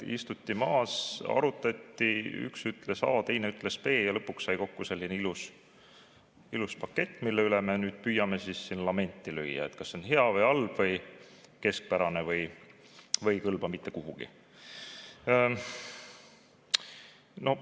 Kas istuti maha ja arutati, üks ütles A, teine ütles B ja lõpuks sai kokku selline ilus pakett, mille üle me nüüd püüame lamenti lüüa, et kas see on hea või halb või keskpärane või ei kõlba mitte kuhugi?